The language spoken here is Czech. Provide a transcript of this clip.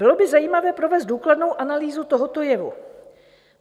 Bylo by zajímavé provést důkladnou analýzu tohoto jevu.